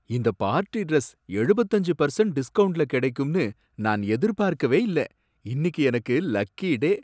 இந்த party dress எழுபத்தி அஞ்சு பர்சண்ட் டிஸ்கௌண்ட்ல கிடைக்கும்னு நான் எதிர்பார்க்கவே இல்ல, இன்னிக்கு எனக்கு லக்கி டே